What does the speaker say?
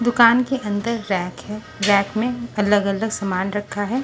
दुकान के अंदर रैक है रैक में अलग-अलग सामान रखा है।